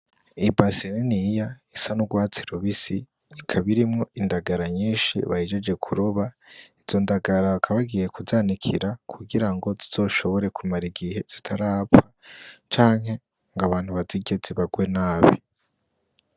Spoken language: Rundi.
Ibase niniya isa n'urwatsi rubisi ikab'irimwo indagara nyinshi bahejeje kuroba , izo ndagara bakaba bagiye kuzanikira kugira ngo zizoshobore kumar'igihe zitarapfa, canke ng'abantu bazirye zibarwe nabi.